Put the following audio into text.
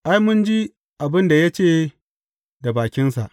Ai, mun ji abin da ya ce da bakinsa.